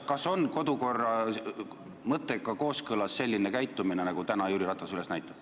Kas kodukorra mõttega on kooskõlas selline käitumine, nagu täna Jüri Ratas demonstreerib?